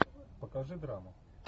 покажи драму